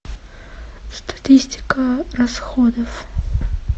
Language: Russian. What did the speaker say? статистика расходов